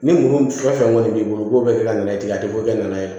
Ni mun fɛn o fɛn kɔni b'i bolo u b'o bɛɛ kɛ ka nɛnɛ tigɛ a tɛ foyi kɛ n'a ye